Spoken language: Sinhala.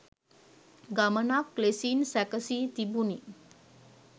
ගමනක් ලෙසින් සැකසී තිබුණි.